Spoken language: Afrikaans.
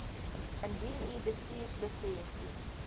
indien u bestuurslisensie